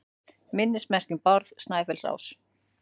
Minnismerki um Bárð Snæfellsás.